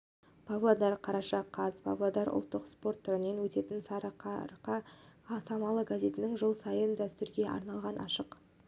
павлодар қараша қаз павлодарда ұлттық спорт түрінен өтетін сарыарқа самалы газетінің жыл сайынғы дәстүрге айналған ашық